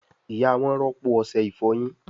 ìyá wón rọpo Ọṣẹ ìfọyín.